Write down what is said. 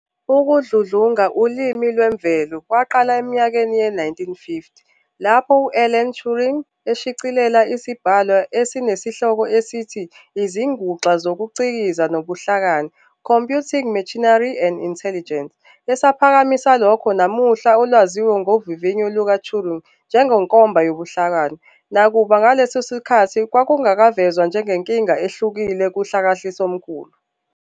Ukudludlunga ulimi lwemvelo kwaqala eminyakeni ye-1950, lapho u-Alan Turing eshicilela isibhalwa esinisehloko esithi "IziNguxa zokuCikiza nobuHlakani" "Computing Machinery and Intelligence", esaphakamisa lokho namuhla olwaziwa ngovivinyo luka-Turing njengenkomba yobuhlakani, nakuba ngaleso sikhathi kwakungavezwa njengenkinga ehlukile kuhlakahlisombulu.